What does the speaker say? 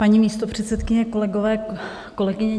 Paní místopředsedkyně, kolegové, kolegyně.